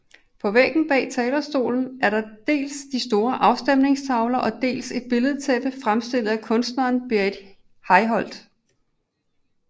På væggen bag talerstolen er der dels de store afstemningstavler og dels et billedtæppe fremstillet af kunstneren Berit Hjelholt